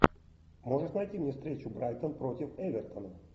можешь найти мне встречу брайтон против эвертона